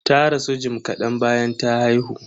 Ta rasu jim kadan bayan ta haihu.